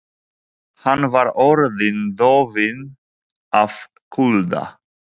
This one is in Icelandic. Hann var orðinn dofinn af kulda.